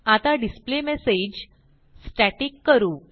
आता display message static करू